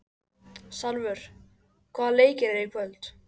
Salvör, hvaða leikir eru í kvöld?